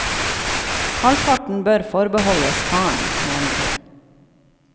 Halvparten bør forbeholdes faren, mener hun.